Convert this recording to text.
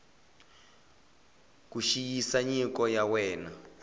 ku xiyisisa nyiko ya wena